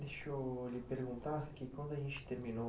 Deixa eu lhe perguntar que quando a gente terminou